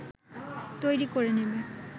তৈরি করে নেবে